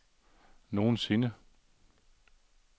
nogensinde